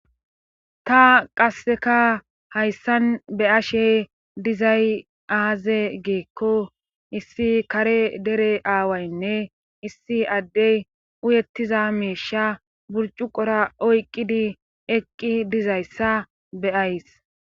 ta qasseka hayssan be ashe dizay aaze geekko issi kare dere aawaynne issi addey uyettiza meisha burcu qora oyqqidi eqqi dizayssa beyays